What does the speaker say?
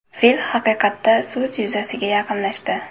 Fil haqiqatda suz yuzasiga yaqinlashdi.